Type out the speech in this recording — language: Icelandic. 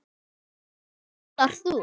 Hvaða egg notar þú?